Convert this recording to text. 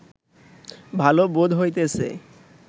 ভাল বোধ হইতেছে